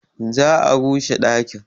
Za a rushe ɗakin.